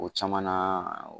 O caman na